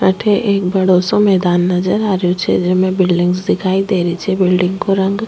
अठे एक बड़ो मैदान नजर आ रेहो छे जेमे बिलडिंग्स दिखाई दे री छे बिलडिंग को रंग --